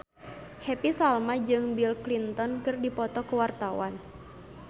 Happy Salma jeung Bill Clinton keur dipoto ku wartawan